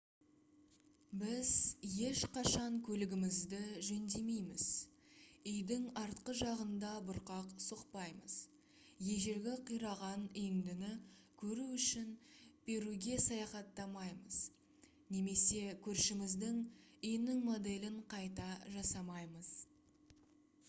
біз ешқашан көлігімізді жөндемейміз үйдің артқы жағында бұрқақ соқпаймыз ежелгі қираған үйіндіні көру үшін перуге саяхаттамаймыз немесе көршіміздің үйінің моделін қайта жасамаймыз